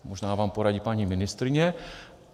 Možná vám poradí paní ministryně.